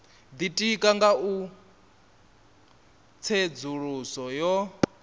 ditika nga u tsedzuluso yo